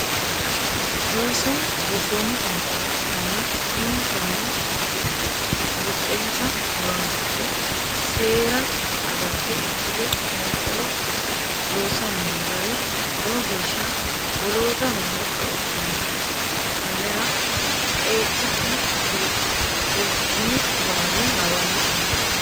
Ooso gobbomu fonqolo adhittanni uminsanni buqensa horonsidhe seera agarte ikkite fonqolo loossani no gari lowo geeshsha woloottaho hexxo ikkanoho tenera qeecha'ne fultinni baali hawalle hagiidhitinni.